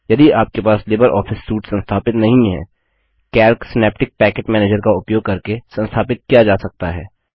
यदि आपके पास लिबर ऑफिस सूट संस्थापित नहीं है कैल्क सिनैप्टिक पैकेज मैनेजर का उपयोग करके संस्थापित किया जा सकता है